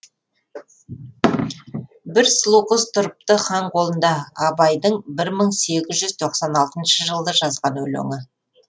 бір сұлу қыз тұрыпты хан қолында абайдың бір мың сегіз жүз тоқсан алтыншы жылы жазған өлеңі